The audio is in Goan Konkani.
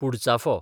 पुडचाफो